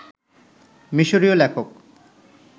মিশরীয় লেখক